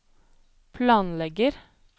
planlegger